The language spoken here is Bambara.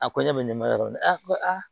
A ko ɲɛ bɛ ne ma yɔrɔ min ko aa